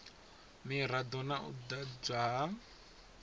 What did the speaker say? mirado na u ḓadzwa ha